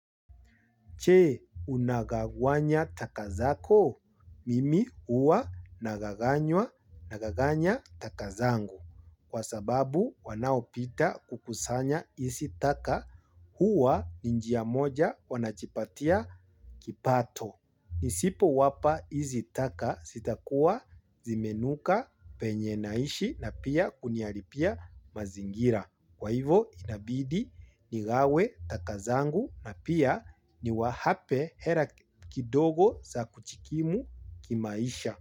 Je? Unagawanya taka zako? Mimi huwa nagaganya taka zangu. Kwa sababu wanaopita kukusanya izi taka huwa ni njia moja wanajipatia kipato. Nisipowapa izi taka zitakuwa zimenuka penye naishi na pia kuniharibia mazingira. Kwa hivo inabidi nigawe takazangu na pia niwape hela kidogo za kujikimu kimaisha.